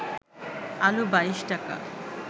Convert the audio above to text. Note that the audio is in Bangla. আলু ২২ টাকা